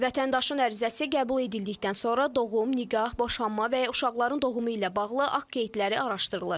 Vətəndaşın ərizəsi qəbul edildikdən sonra doğum, nikah, boşanma və ya uşaqların doğumu ilə bağlı akt qeydləri araşdırılır.